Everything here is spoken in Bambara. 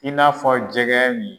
I n'a fɔ jɛgɛ nin.